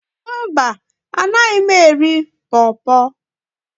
mba, Anaghị m eri por por